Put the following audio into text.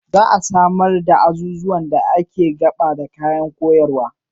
Za a samar da azuzuwan da ke gaba da kayan koyarwa.